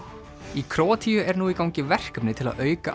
í Króatíu er nú í gangi verkefni til að auka